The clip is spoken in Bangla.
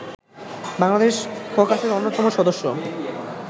বাংলাদেশ ককাসের অন্যতম সদস্য